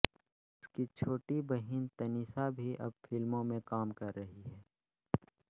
उसकी छोटी बहिन तनिषा भी अब फिल्मों में काम कर रही है